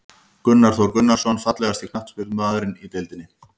Gunnar Þór Gunnarsson Fallegasti knattspyrnumaðurinn í deildinni?